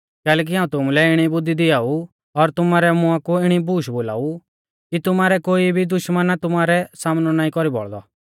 कैलैकि हाऊं तुमुलै इणी बुद्धी दिआऊ और तुमारै मुआं कु इणी बूश बोलावा ऊ कि तुमारै कोई भी दुश्मना तुमारौ सामनौ नाईं कौरी बौल़दौ